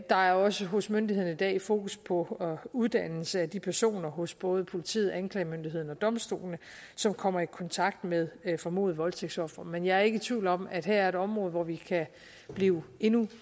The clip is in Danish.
der er også hos myndighederne i dag fokus på uddannelse af de personer hos både politiet anklagemyndigheden og domstolene som kommer i kontakt med formodede voldtægtsofre men jeg er ikke tvivl om at her er et område hvor vi kan blive endnu